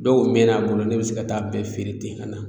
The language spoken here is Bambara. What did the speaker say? Dɔw mɛnn'a bolo ne be se ka taa bɛɛ feere ten ka na